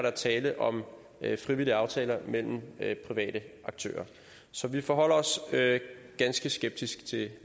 er tale om frivillige aftaler mellem private aktører så vi forholder os ganske skeptisk til